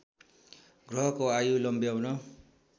ग्रहको आयु लम्ब्याउन